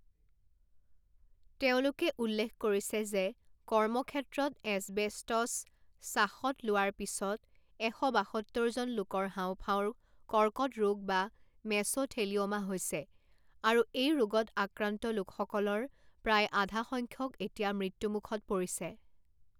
তেওঁলোকে উল্লেখ কৰিছে যে কৰ্মক্ষেত্ৰত এছবেষ্টছ শ্বাসত লোৱাৰ পিছত এশ বাসত্তৰজন লোকৰ হাওঁফাওঁৰ কৰ্কট ৰোগ বা মেছ'থেলিঅ'মা হৈছে, আৰু এই ৰোগত আক্ৰান্ত লোকসকলৰ প্ৰায় আধা সংখ্যক এতিয়া মৃত্যুমুখত পৰিছে।